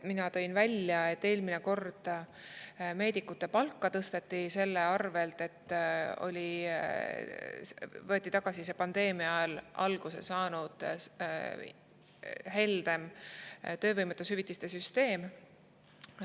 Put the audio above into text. Mina tõin välja, et eelmine kord tõsteti meedikute palka selle arvelt, et võeti tagasi pandeemia ajal alguse saanud heldem töövõimetushüvitiste süsteem.